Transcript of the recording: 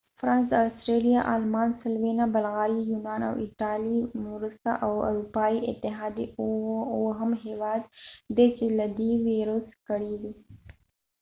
فرانس د استرالیا آلمان سلووینا بلغاریا یونان او ایټالېې وروسته د اروپایی اتحادیې اووهم هیواد دې چې له دې ویروس کړیږي